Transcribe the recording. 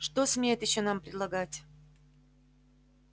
что смеет ещё нам предлагать